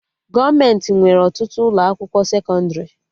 Gọọmenti nwere ọtụtụ ụlọ akwụkwọ sekọndrị